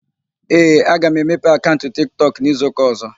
Ee, aga m emepe akaụnt Tik Tọk n'izuụka ọ̀zọ́.